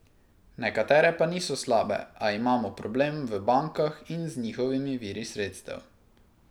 Nekatere pa niso slabe, a imamo problem v bankah in z njihovimi viri sredstev.